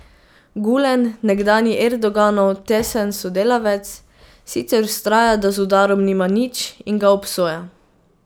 Gulen, nekdanji Erdoganov tesen sodelavec, sicer vztraja, da z udarom nima nič, in ga obsoja.